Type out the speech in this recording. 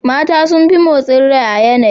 Mata sun fi motsi rai a yanayi.